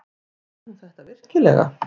Kann hún þetta virkilega?